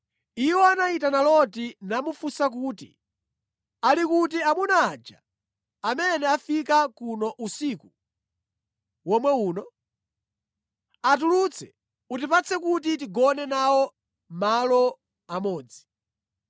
Iwo anayitana Loti namufunsa kuti, “Ali kuti amuna aja amene afika kuno usiku womwe uno? Atulutse, utipatse kuti tigone nawo malo amodzi.”